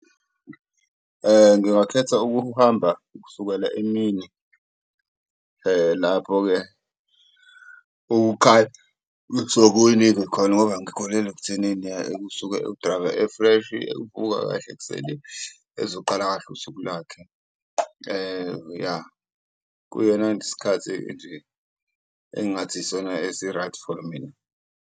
Ngingakhetha ukuhamba ukusukela emini lapho-ke khona ngoba ngikholelwa ekuthenini usuke u-driver efreshi ubuka kahle ekuseni ezoqala kahle usuku lakhe ya. Kuyona isikhathi nje engathi isona esi-right for mina.